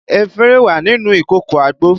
Efinrin wà nínú ìkòkò àgbo